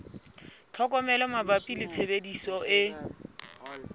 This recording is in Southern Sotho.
tlhokomelo mabapi le tshebediso e